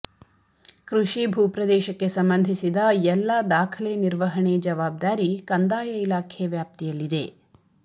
ಕೃಷಿ ಭೂ ಪ್ರದೇಶಕ್ಕೆ ಸಂಬಂಧಿಸಿದ ಎಲ್ಲ ದಾಖಲೆ ನಿರ್ವಹಣೆ ಜವಾಬ್ದಾರಿ ಕಂದಾಯ ಇಲಾಖೆ ವ್ಯಾಪ್ತಿಯಲ್ಲಿದೆ